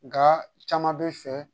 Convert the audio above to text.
Nga caman bɛ fɛ